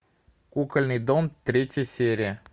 кукольный дом третья серия